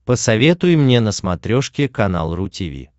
посоветуй мне на смотрешке канал ру ти ви